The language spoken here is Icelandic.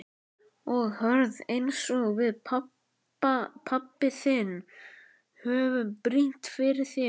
Og hörð einsog við pabbi þinn höfum brýnt fyrir þér.